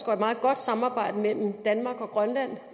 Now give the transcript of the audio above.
og meget godt samarbejde mellem danmark og grønland